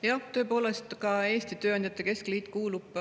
Jah, tõepoolest, ka Eesti Tööandjate Keskliit kuulub